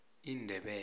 indebele